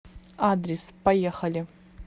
адрес поехали